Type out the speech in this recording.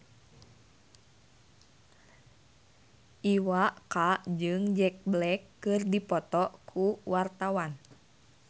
Iwa K jeung Jack Black keur dipoto ku wartawan